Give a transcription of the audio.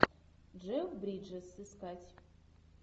джефф бриджес искать